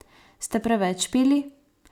Ste preveč pili?